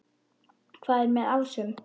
Hvað er með ásum?